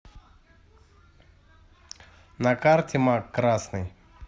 на карте мак красный